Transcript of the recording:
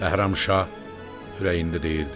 Bəhram şah ürəyində dedi: